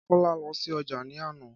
Kọ́lá lọ sí ojà ní àná